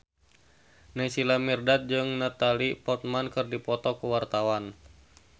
Naysila Mirdad jeung Natalie Portman keur dipoto ku wartawan